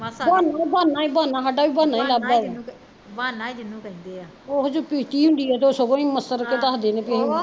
ਉਹਨੂੰ ਵਾਹਨਾ ਈ ਵਾਹਨਾ ਤੇ ਸਾਡਾ ਵੀ ਵਾਹਨਾ ਈ ਲੱਭਦਾ ਐ ਓਹੀ ਜਦੋਂ ਪੀਤੀ ਹੁੰਦੀ ਐ ਤੇ ਸਗੋਂ ਈ ਮਸਰ ਦੱਸਦੇ ਣੇ ਵੀ ਅਸੀਂ